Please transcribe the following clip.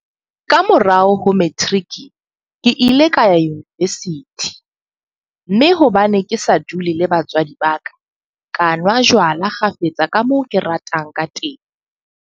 Ka morao ho materiki, ke ile ka ya univesithi, mme hobane ke sa dule le batswadi ba ka, ka nwa jwala kgafetsa ka moo ke ratang kateng.